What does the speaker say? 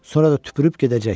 Sonra da tüpürüb gedəcək.